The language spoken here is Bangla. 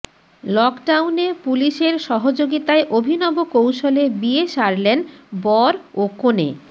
লকডাউনে পুলিশের সহযোগিতায় অভিনব কৌশলে বিয়ে সারলেন বড় ও কনে